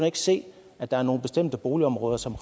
ikke se at der er nogle bestemte boligområder som